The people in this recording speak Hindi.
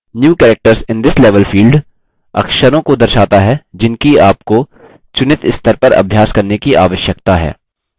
new characters in this level field अक्षरों को दर्शाता है जिनकी आपको चुनित स्तर पर अभ्यास करने की आवश्यकता है